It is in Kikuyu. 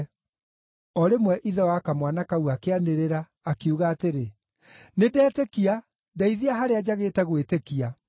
O rĩmwe ithe wa kamwana kau akĩanĩrĩra, akiuga atĩrĩ, “Nĩndetĩkia, ndeithia harĩa njagĩte gwĩtĩkia.”